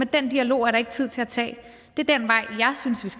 den dialog er der ikke tid til at tage